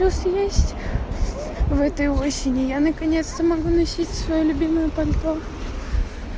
плюс есть в этой осени я наконец-то могу носить свою любимую пальто